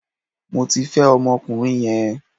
Mo ti fẹ́ ọmọkùnrin yẹn